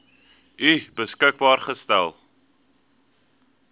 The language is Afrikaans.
u beskikbaar gestel